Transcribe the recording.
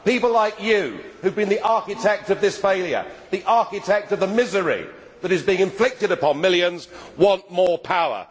People like you who have been the architect of this failure, the architect of the misery that is being inflicted upon millions want more power.